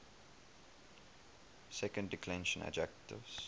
second declension adjectives